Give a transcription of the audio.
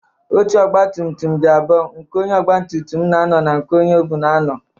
Oche ọgbatumtum dị abụọ: nke onye ogbatumtum na-anọ na nke onye o buu na-anọ.